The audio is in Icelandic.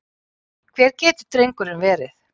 Hvar getur drengurinn verið?